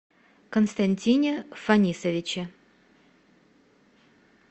константине фанисовиче